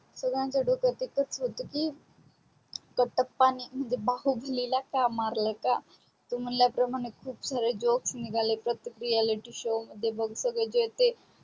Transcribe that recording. संगड्यांच डोक तिथच होत की कटप्पाणे बाहुबलीला का मारल का तू म्हणल्या प्रमाणे खूपसारे joks निगाले प्रतेक reality show मध्ये बग सगडे जे थे